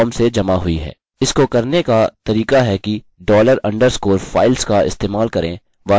इसको करने का तरीका है कि dollar अंडरस्कोर files का इस्तेमाल करें वास्तव में यह सही नहीं है